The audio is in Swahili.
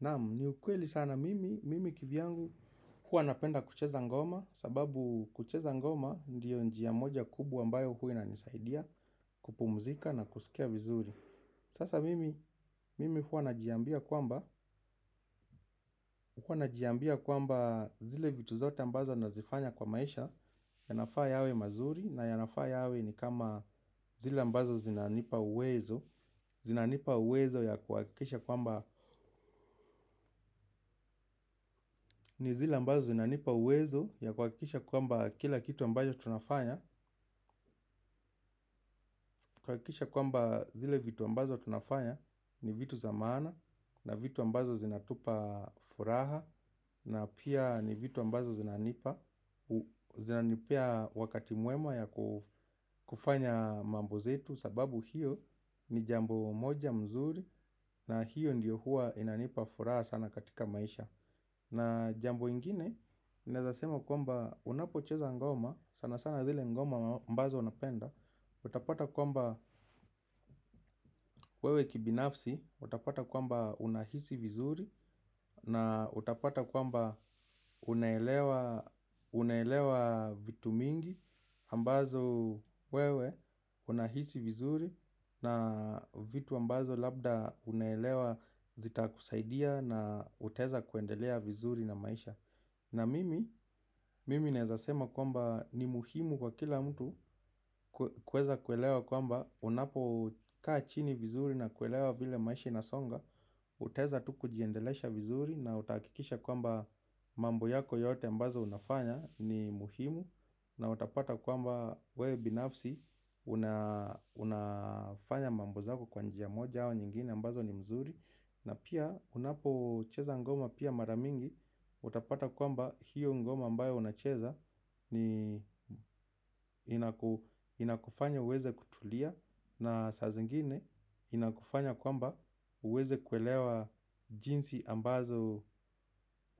Naam, ni ukweli sana mimi, mimi kivyangu huwa napenda kucheza ngoma sababu kucheza ngoma ndiyo njia moja kubwa ambayo huwa inanisaidia kupumzika na kusikia vizuri. Sasa mimi, mimi huwa najiambia kwamba, huwa najiambia kwamba zile vitu zote ambazo nazifanya kwa maisha. Yanafaa yawe mazuri na yanafaa yawe ni kama zile ambazo zinanipa uwezo zinanipa uwezo ya kuhakikisha kwamba ni zile ambazo zinanipa uwezo ya kuhakikisha kwamba kila kitu ambayo tunafanya kuhakikisha kwamba zile vitu ambazo tunafanya ni vitu za maana. Na vitu ambazo zinatupa furaha na pia ni vitu ambazo zinanipa zinanipa wakati mwema ya kufanya mambo zetu sababu hiyo ni jambo moja mzuri. Na hiyo ndiyo huwa inanipa furaha sana katika maisha. Na jambo ingine, naweza sema kwamba unapocheza ngoma, sana sana zile ngoma ambazo unapenda utapata kwamba wewe kibinafsi, utapata kwamba unahisi vizuri. Na utapata kwamba unaelewa unaelewa vitu mingi ambazo wewe unahisi vizuri. Na vitu ambazo labda unaelewa zitakusaidia na utaweza kuendelea vizuri na maisha. Na mimi, mimi naweza sema kwamba ni muhimu kwa kila mtu kuweza kuelewa kwamba unapokaa chini vizuri na kuelewa vile maisha inasonga. Utaweza tu kujiendelesha vizuri na utahakikisha kwamba mambo yako yote ambazo unafanya ni muhimu. Na utapata kwamba wewe binafsi unafanya mambo zako kwa njia moja au nyingine ambazo ni mzuri. Na pia unapocheza ngoma pia mara mingi. Utapata kwamba hiyo ngoma ambayo unacheza ni inakufanya uweze kutulia. Na saa zingine inakufanya kwamba uweze kuelewa jinsi ambazo